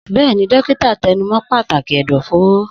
Bẹ́ẹ̀ni, dókítà tẹnu mọ́ pàtàkì ẹ̀dọ̀fóró.